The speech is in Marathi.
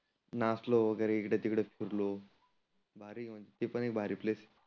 नाचलो वगैरे इकड तिकड फिरलो भारी आहे. ते पण एक भारी प्लेस